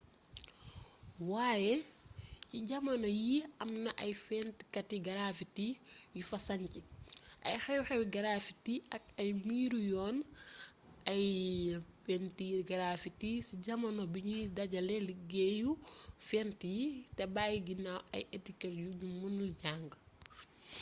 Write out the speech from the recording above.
waaye ci jamono yii am na ay fentkati garaffiti yu fa sanc ay xew-xewi graffiti ak ay miiru yoon ay pentiiri graffiti ci jamono biñuy dajale liggéeyu fent yi te bayyi ginnaaw ay etiket yuñu mënul jang